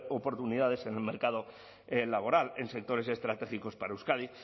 oportunidades en el mercado laboral en sectores estratégicos para euskadi